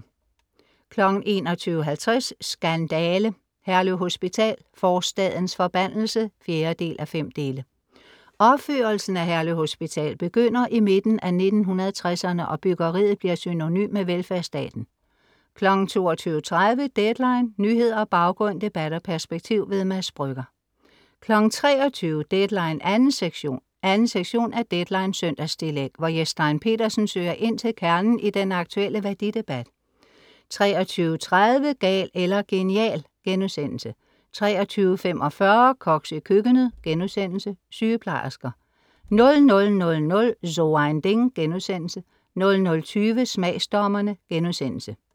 21:50 Skandale! Herlev Hospital: forstadens forbandelse. (4:5) Opførelsen af Herlev Hospital begynder i midten af 1960'erne og byggeriet bliver synonym med velfærdsstaten. 22:30 Deadline. Nyheder, baggrund, debat og perspektiv. Mads Brügger 23:00 Deadline 2. sektion. 2.sektion er Deadlines søndagstillæg, hvor Jes Stein Pedersen søger ind til kernen i den aktuelle værdidebat 23:30 Gal eller genial* 23:45 Koks i køkkenet* Sygeplejersker 00:00 So ein Ding* 00:20 Smagsdommerne*